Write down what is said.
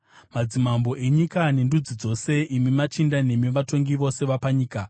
Madzimambo enyika nendudzi dzose, imi machinda nemi vatongi vose panyika,